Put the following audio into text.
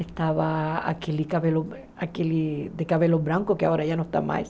Estava aquele cabelo aquele de cabelo branco, que agora já não está mais.